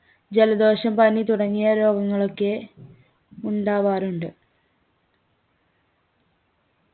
ജലദോഷം പനി തുടങ്ങിയ രോഗങ്ങളൊക്കെ ഉണ്ടാവാറുണ്ട്